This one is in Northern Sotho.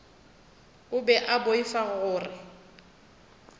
o be a boifa gore